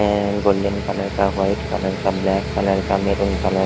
ये है golden colour का व्हाइट कलर का ब्लैक कलर का मैरून कलर --